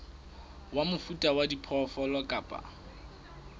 wa mofuta wa diphoofolo kapa